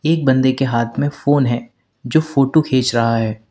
एक बंदे के हाथ में फोन है जो फोटो खींच रहा है।